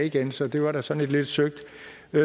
igen så det var da sådan et lidt søgt